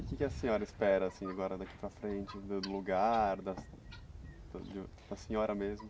E o que a senhora espera, assim, agora daqui para frente, vendo o lugar, da da senhora mesmo?